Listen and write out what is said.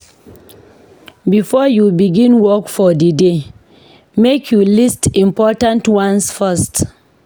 Before you begin work for di day, make you list important ones first.